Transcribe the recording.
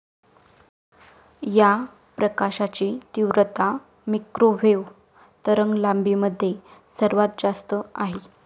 या प्रकाशाची तीव्रता मिक्रोवेव्ह तरंगलांबीमध्ये सर्वात जास्त आहे.